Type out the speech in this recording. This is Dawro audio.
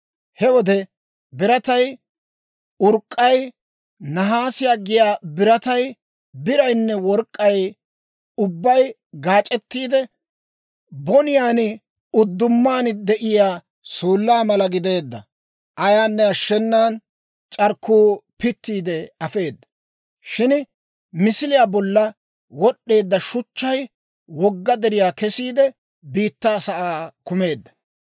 He wode biratay, urk'k'ay, nahaase giyaa biratay, biraynne work'k'ay ubbay gaac'ettiide, boniyaan uddumaan de'iyaa suullaa mala gideedda; ayaanne ashshenan c'arkkuu pittiide afeeda. Shin misiliyaa bolla wod'd'eedda shuchchay wogga deriyaa kesiide, biittaa sa'aa kumeedda.